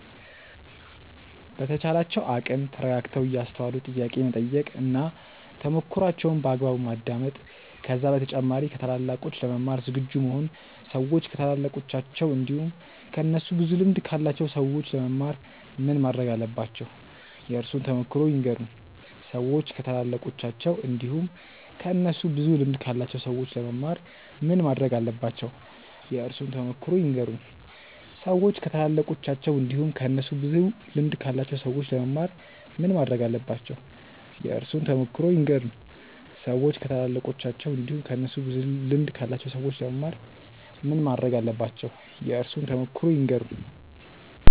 በተቻላቸው አቅም ተረጋግተው እያስተዋሉ ጥያቄ መጠየቅ እና ተሞክሮዋቸውን በአግባቡ ማዳመጥ ከዛ በተጨማሪ ከታላላቆች ለመማር ዝግጁ መሆን ሰዎች ከታላላቃቸው እንዲሁም ከእነሱ ብዙ ልምድ ካላቸው ሰዎች ለመማር ምን ማረግ አለባቸው? የእርሶን ተሞክሮ ይንገሩን? ሰዎች ከታላላቃቸው እንዲሁም ከእነሱ ብዙ ልምድ ካላቸው ሰዎች ለመማር ምን ማረግ አለባቸው? የእርሶን ተሞክሮ ይንገሩን? ሰዎች ከታላላቃቸው እንዲሁም ከእነሱ ብዙ ልምድ ካላቸው ሰዎች ለመማር ምን ማረግ አለባቸው? የእርሶን ተሞክሮ ይንገሩን? ሰዎች ከታላላቃቸው እንዲሁም ከእነሱ ብዙ ልምድ ካላቸው ሰዎች ለመማር ምን ማረግ አለባቸው? የእርሶን ተሞክሮ ይንገሩን?